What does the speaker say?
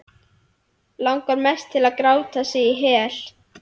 Langar mest til að gráta sig í hel.